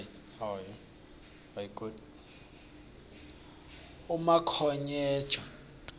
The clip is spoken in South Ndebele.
umakhonyeja